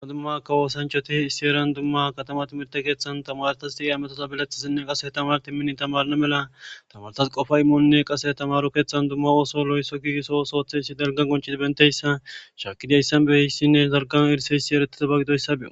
Duma dumma ka woosanchoti isieran dumma katama timirte keeththan tamartas xi7e ametosa bileththisinne qase tamar timmini tamarna mela tamarsas qofa immonne qase tamaru keeththan dumma ooso lo7esso giigiso osoothessi dalgan qoncisi benteyssa shaakidiayssan behissinne zargan irseyssi eretitabagidoyssa beo.